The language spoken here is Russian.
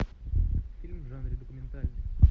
фильм в жанре документальный